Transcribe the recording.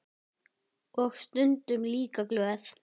Og stundum líka glöð.